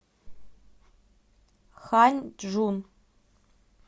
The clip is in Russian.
ханьчжун